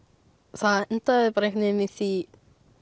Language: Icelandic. það endaði einhvern veginn í því